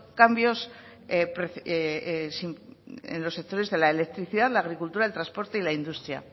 cambios en los sectores de la electricidad la agricultura el transporte y la industria